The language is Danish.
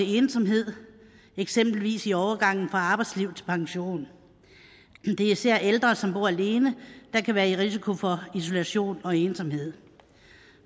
ensomhed eksempelvis i overgangen fra arbejdsliv til pension det er især ældre som bor alene der kan være i risiko for isolation og ensomhed